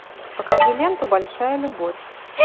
покажи ленту большая любовь